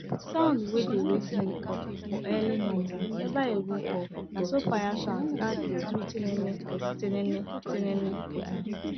sound wey dey wake me up for early momo neva even off naso fire sound start dey do tinini tininitinini